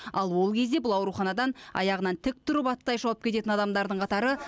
ал ол кезде бұл ауруханадан аяғынан тік тұрып аттай шауып кететін адамдардың қатары